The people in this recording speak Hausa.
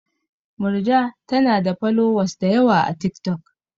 Murja tanada folowas dayawa a tik tok